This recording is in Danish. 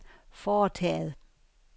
foretaget